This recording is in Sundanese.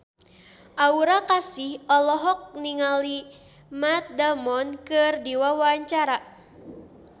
Aura Kasih olohok ningali Matt Damon keur diwawancara